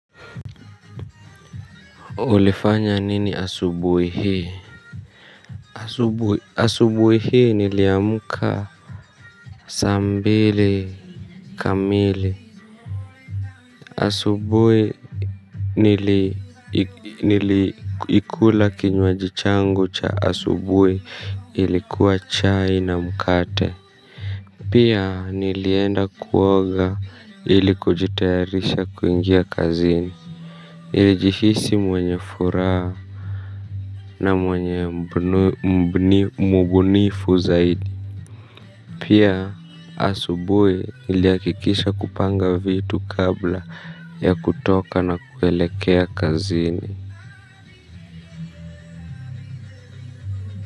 Ulifanya nini asubui hii? Asubui hii niliamka saa mbili kamili asubui nili ikula kinwajichangu cha asubui ilikuwa chai na mkate pia nilienda kuoga ili kujitayarisha kuingia kazini nilijihisi mwenye furaha. Na mwenye mbunifu zaidi. Pia asubui iliakikisha kupanga vitu kabla ya kutoka na kuelekea kazini.